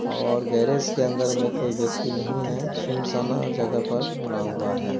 और गेरेज के अंदर में कोई व्यक्ति नहीं है सुनसाना जगह पर बना हुआ है।